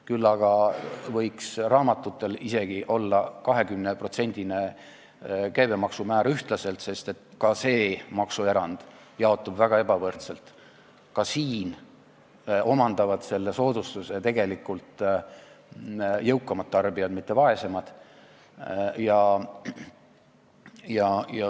Küll aga võiks raamatutel olla ühtlaselt 20%-line käibemaksumäär, sest ka see maksuerand jaotub väga ebavõrdselt, ka siin omandavad selle soodustuse tegelikult jõukamad tarbijad, mitte vaesemad.